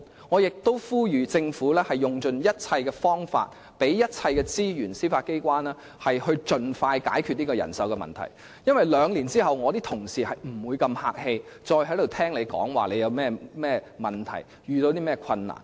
我亦呼籲政府要用盡一切方法，並向司法機構提供一切資源，以便盡快解決人手問題，因為兩年後，我的同事將不會再如此客氣地聆聽政府遇到甚麼問題和困難。